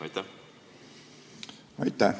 Aitäh!